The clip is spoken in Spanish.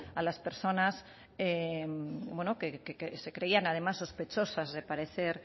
a las personas que se creían sospechosas de padecer